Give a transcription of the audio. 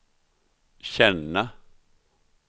känna